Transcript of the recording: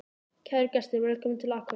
Kæru gestir! Velkomnir til Akureyrar.